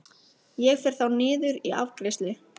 Ég fer þá niður í afgreiðslu.